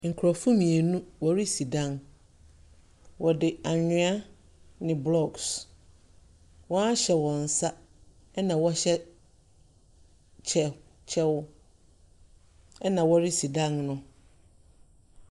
Nkurɔfoɔ mmienu wɔrisi dan. Wɔde anwea ne blocks. Wɔahyɛ wɔn nsa na wɔhyɛ kyɛ kyɛw, ɛnna wɔresi dan no.